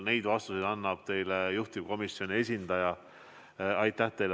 Neid vastuseid annab teile juhtivkomisjoni esindaja.